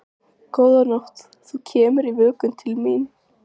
Góða nótt, þú kemur í vökunni til mín.